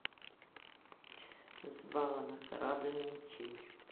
с бала на корабль ничей